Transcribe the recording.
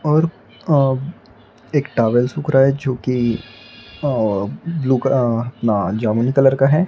और अह एक टॉवल सूख रहा है जो कि अह ब्लू क अह ना जामुनी कलर का है।